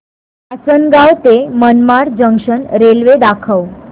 आसंनगाव ते Manmad junction railway दाखव